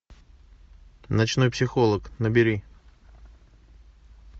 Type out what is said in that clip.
ночной психолог набери